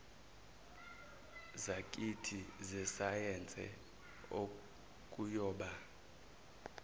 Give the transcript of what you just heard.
zakithi zesayense okuyoba